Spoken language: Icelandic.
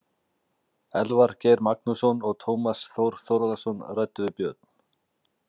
Elvar Geir Magnússon og Tómas Þór Þórðarson ræddu við Björn.